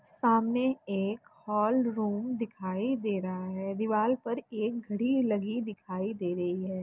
सामने एक hall room दिखाई दे रहा है दीवार पर एक घड़ी लगी दिखाई दे रही है।